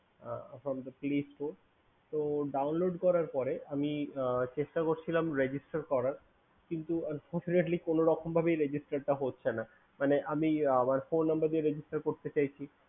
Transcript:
এখন download করার পরে আমি চেষ্টা করছিলাম Registration করার কিন্তু সরাসরি কোনোরকম ভাবেই Registration টা হচ্ছে না